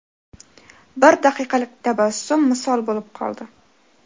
Bir daqiqalik tabassum misol bo‘lib qoldi.